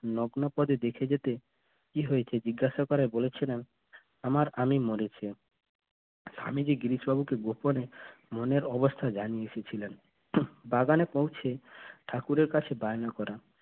নগ্ন পদে দেখে যেতে কি হয়েছে জিজ্ঞাসা করায় বলেছিলেন আমার আমি স্বামীজি গোপনে মনের অবস্থা ছিলেন বাগানে পৌঁছে ঠাকুরের কাছে বায়না করেন